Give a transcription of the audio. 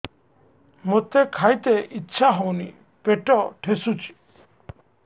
ମୋତେ ଖାଇତେ ଇଚ୍ଛା ହଉନି ପେଟ ଠେସୁଛି